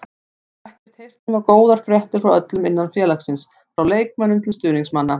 Ég hef ekkert heyrt nema góðar fréttir frá öllum innan félagsins, frá leikmönnum til stuðningsmanna.